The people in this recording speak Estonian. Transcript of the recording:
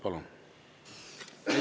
Palun!